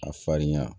A farinya